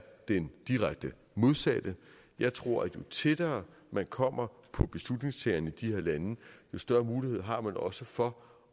den direkte modsatte jeg tror at jo tættere man kommer på beslutningstagerne i de her lande jo større mulighed har man også for